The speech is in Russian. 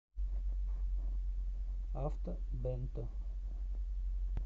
авто бэнто